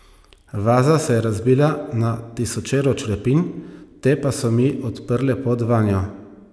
Vaza se je razbila na tisočero črepinj, te pa so mi odprle pot vanjo.